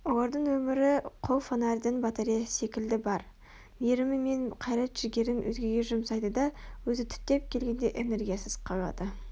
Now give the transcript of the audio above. олардың өмірі қол фонарьдың батареясы секілді бар мейірімі мен қайрат-жігерін өзгеге жұмсайды да өзі түптеп келгенде энергиясыз қалады